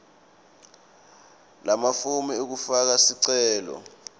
lamafomu ekufaka sicelo